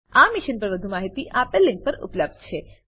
આ મિશન પર વધુ માહિતી આપેલ લીંક પર ઉપલબ્ધ છે